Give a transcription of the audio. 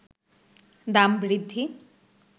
দাম বৃদ্ধি